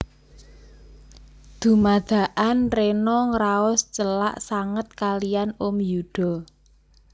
Dumadakan Rena ngraos celak sanget kaliyan Om Yuda